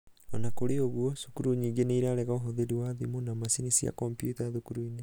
ona kũri ũguo, cukuru nyingĩ nĩirarega ũhũthĩri wa thimũ na macini cia kompyuta cukuru-inĩ.